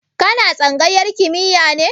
Ka na tsangayar kimiya ne?